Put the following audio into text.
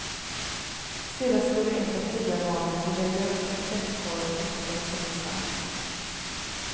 Sedan skulle ett av tiggarbarnen ligga gömt i en tvättkorg och hittas av polisen.